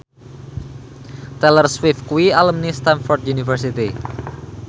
Taylor Swift kuwi alumni Stamford University